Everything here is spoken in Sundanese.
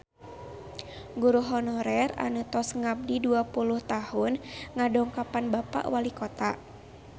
Guru honorer anu tos ngabdi dua puluh tahun ngadongkapan Bapak Walikota